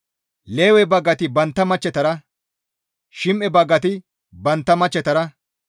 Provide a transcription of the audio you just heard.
Lewe baggati bantta machchetara, Shim7e baggati bantta machchetara,